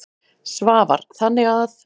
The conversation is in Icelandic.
Svavar: Þannig að.